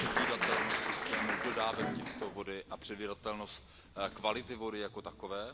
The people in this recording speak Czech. předvídatelnost systému dodávek této vody a předvídatelnost kvality vody jako takové.